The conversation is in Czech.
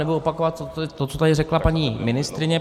Nebudu opakovat to, co tady řekla paní ministryně.